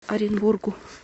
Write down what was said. оренбургу